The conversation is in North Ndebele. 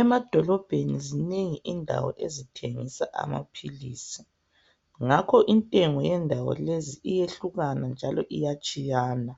Emadolobheni zinengi indawo ezithengisa amaphilisi ngakho intengo yendawo lezi iyehlukana njalo iyatshiyana.